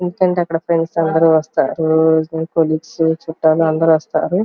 ఎందుకంటే అక్కడ ఫ్రెండ్స్ అందరూ వస్తారు. కొలీగ్స్ చుట్టాలు అందరూ వస్తారు.